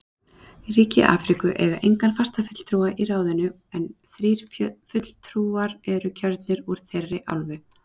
Ríki Afríku eiga engan fastafulltrúa í ráðinu en þrír fulltrúar eru kjörnir úr þeirri álfu.